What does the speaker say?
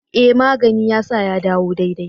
E! magani ya sa ya dawo daidai.